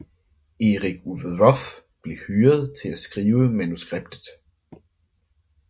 Eric Roth blev hyret til at skrive manuskriptet